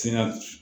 Ti na